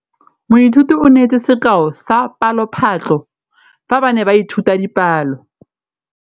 Moithuti o neetse sekaô sa palophatlo fa ba ne ba ithuta dipalo.